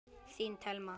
Þín Thelma.